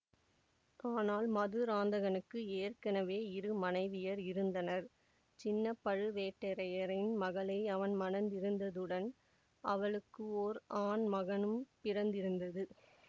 ஆனால் மதுராந்தகனுக்கு ஏற்கெனவே இரு மனைவியர் இருந்தனர் சின்ன பழுவேட்டரையரின் மகளை அவன் மணந்திருந்ததுடன் அவளுக்கு ஓர் ஆண் மகனும் பிறந்திருந்தது